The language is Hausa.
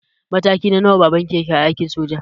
Mataki na nawa baban ki yake a aikin soja?